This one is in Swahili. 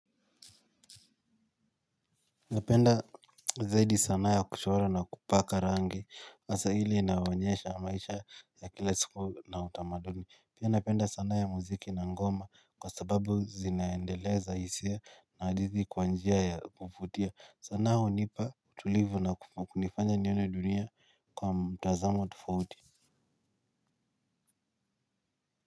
Napenda zaidi sanaa ya kuchora na kupaka rangi, hasaa ile inawaonyesha maisha ya kila siku na utamaduni. Pia napenda sanaa ya muziki na ngoma kwa sababu zinaendeleza hisia na hadithi kwa njia ya kuvutia. Sanaa hunipa utulivu na kunifanya nione dunia kwa mtazamo tofauti.